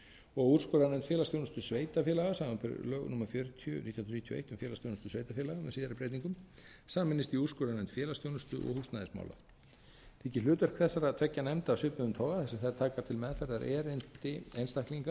og úrskurðarnefnd félagsþjónustu sveitarfélaga samanber lög númer fjörutíu nítján hundruð níutíu og eitt um félagsþjónustu sveitarfélaga með síðari breytingum sameinist í úrskurðarnefnd félagsþjónustu og húsnæðismála þykir hlutverk þessara tveggja nefnda af svipuðum toga þar